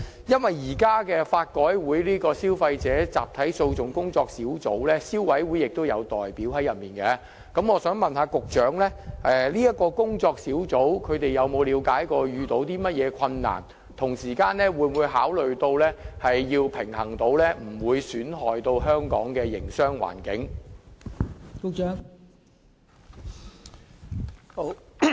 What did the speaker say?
由於法改會的集體訴訟小組委員會現時亦有消委會的代表，我想問局長，這個小組委員會有否了解所遇到的困難為何，同時會否考慮作出平衡，以免損害香港的營商環境？